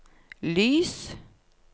lys